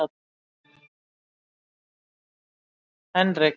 Henrik